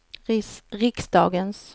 riksdagens